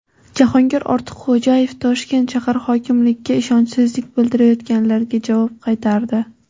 Jahongir Ortiqxo‘jayev Toshkent shahar hokimligiga ishonchsizlik bildirayotganlarga javob qaytardi.